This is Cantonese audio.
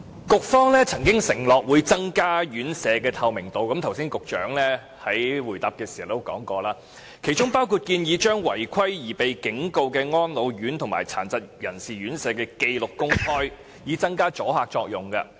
局方曾經承諾會增加院舍的透明度，局長剛才在回答時亦說過，其中包括將違規而被警告的安老院及殘疾人士院舍的紀錄公開，以增加阻嚇作用。